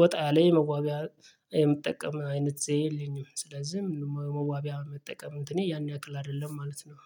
ወጣያለ የመዋቢያ የምጠቀም አይነት ዘየ የለኝም ስለዚህ መዋቢያ የመጠቀም እንትኔ ያንያክል አይደለም ማለት ነው።